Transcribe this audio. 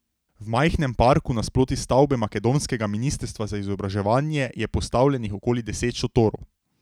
V majhnem parku nasproti stavbe makedonskega ministrstva za izobraževanje je postavljenih okoli deset šotorov.